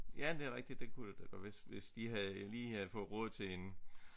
Ja det er rigtigt det kunne det da hvis hvis de havde lige havde fået råd til en